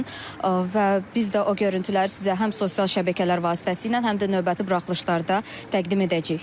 Və biz də o görüntüləri sizə həm sosial şəbəkələr vasitəsilə, həm də növbəti buraxılışlarda təqdim edəcəyik.